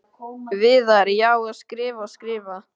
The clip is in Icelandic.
Viðar: Já, og skrifa og skrifa.